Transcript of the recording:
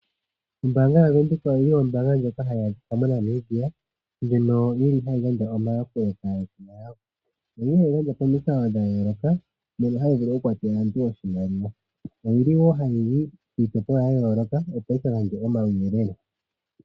Ombaanga yoNedbank ombaanga ndjoka hayi adhika moNamibia ndjono yili hayi gandja omayakulo kaayakulwa yawo. Oyina po omikalo dhayooloka mono hayi vulu okukwathela aantu oshimaliwa. Oyili wo hayi yi kiitopolwa yayooloka opo yi kagandje omauyelele.